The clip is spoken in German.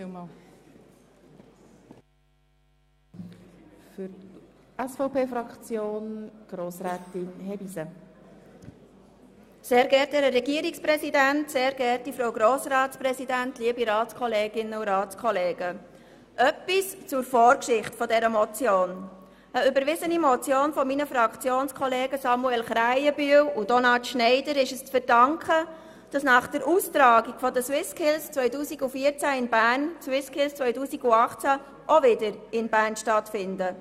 Zur Vorgeschichte dieser Motion: Einer überwiesenen Motion meiner Fraktionskollegen Samuel Krähenbühl und Donat Schneider ist es zu verdanken, dass nach der Austragung der SwissSkills in Bern 2014 die SwissSkills 2018 auch wieder in Bern stattfinden.